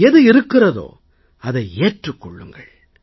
எது இருக்கிறதோ அதை ஏற்றுக் கொள்ளுங்கள்